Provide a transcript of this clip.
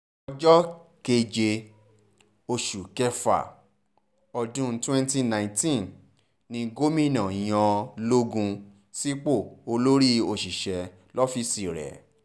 ọjọ́ keje oṣù kẹfà ọdún twenty nineteen ni gomina yan logun sípò olórí òṣìṣẹ́ lọ́fíìsì rẹ̀